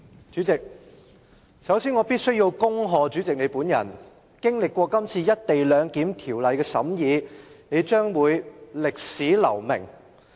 主席，首先，我必須恭賀你，經歷過《廣深港高鐵條例草案》的審議，你將會在歷史留名。